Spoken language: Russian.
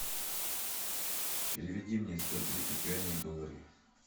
переведи мне сто тридцать юаней в доллары